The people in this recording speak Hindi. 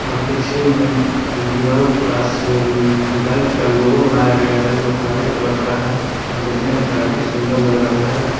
पीछे में दिवाल पास बाइक का लोगो बनाया गया है जो हरे कलर का है देखने में काफी सुंदर लग रहा है।